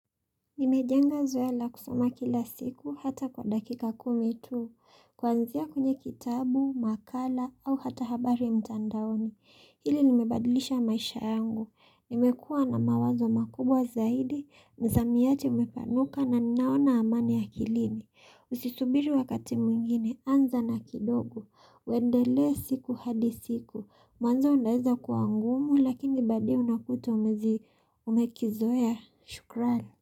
Nimejenga zoea la kusoma kila siku hata kwa dakika kumi tu. Kuanzia kwenye kitabu, makala au hata habari mtandaoni. Hili limebadilisha maisha yangu. Nimekua na mawazo makubwa zaidi, msamiati umepanuka na ninaona amani ya akilini. Usisubiri wakati mwingine, anza na kidogo. Uendelee siku hadi siku. Mwanzo unaweza kuwa ngumu lakini baadaye unakuta umezi umekizoea. Shukrani.